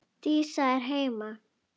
Dísa er heima!